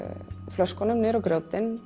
flöskunum á grjótin